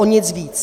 O nic víc.